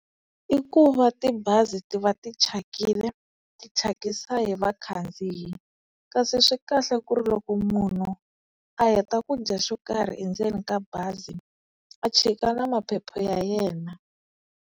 I ku va tibazi ti va ti thyakile, ti thyakisa hi vakhandziyi, kasi swi kahle ku ri loko munhu a heta ku dya xo karhi endzeni ka bazi a chika na maphepha ya yena.